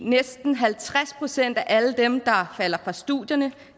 næsten halvtreds procent af alle dem der falder fra studierne